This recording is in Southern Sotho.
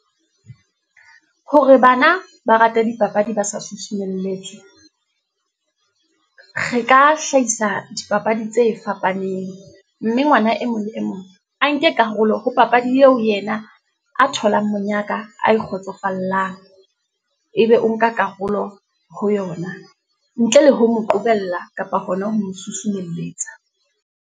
Hore bana ba rate dipapadi ba sa susumelletswe , re ka hlahisa dipapadi tse fapaneng, mme ngwana e mong le e mong, a nke ka karolo ho papadi eo yena, a tholang monyaka, a e kgotsofallang. Ebe o nka karolo ho yona ntle le ho mo qobella kapa hona ho mo susumelletsa.